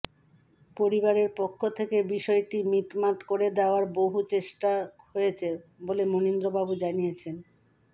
পরিবারের পক্ষ থেকে বিষয়টি মিটমাট করে দেওয়ার বহু চেষ্টা হয়েছে বলে মণীন্দ্রবাবু জানিয়েছেন